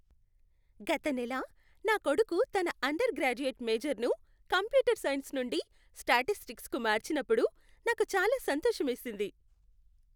గత నెల నా కొడుకు తన అండర్ గ్రాడ్యుయేట్ మేజర్ను కంప్యూటర్ సైన్స్ నుండి స్టాటిస్టిక్స్కు మార్చినప్పుడు నాకు చాలా సంతోషమేసింది.